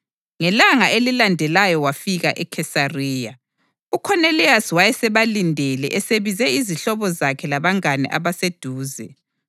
Ngelanga elilandelayo wafika eKhesariya. UKhoneliyasi wayesebalindele esebize izihlobo zakhe labangane abaseduze.